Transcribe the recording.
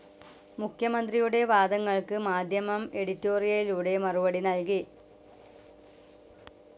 മുഖ്യമന്ത്രിയുടെ വാദങ്ങൾക്ക് മാധ്യമം എഡിറ്റോറിയലിലൂടെ മറുപടി നൽകി.